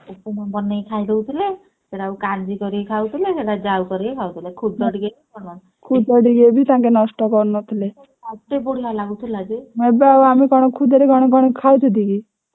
ଖୁଦରେ କଣ ନଥିଲା